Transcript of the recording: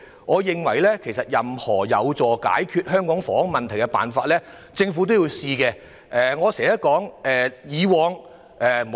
我認為任何有助解決香港房屋問題的方法，政府也應該嘗試。